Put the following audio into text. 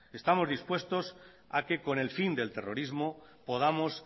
estamos dispuestos a que con el fin del terrorismo podamos